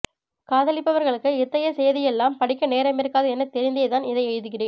காதலிப்பவர்களுக்கு இத்தகைய சேதிகளையெல்லாம் படிக்க நேரமிருக்காது எனத் தெரிந்தேதான் இதை எழுகிறேன்